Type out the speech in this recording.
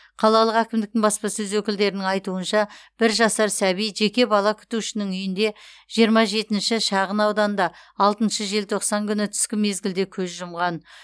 қалалық әкімдіктің баспасөз өкілдерінің айтуынша бір жасар сәби жеке бала күтушінің үйінде жиырма жетінші шағынауданда алтыншы желтоқсан күні түскі мезгілде көз жұмған